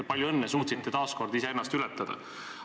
Palju õnne, suutsite taas kord iseennast ületada!